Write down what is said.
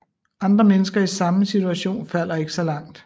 Andre mennesker i samme situation falder ikke så langt